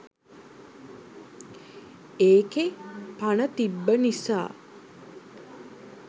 ඒකෙ පණ තිබ්බ නිසා